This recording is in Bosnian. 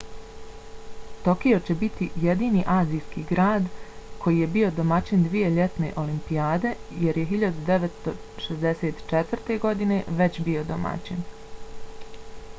tokio će biti jedini azijski grad koji je bio domaćin dvije ljetne olimpijade jer je 1964. godine već bio domaćin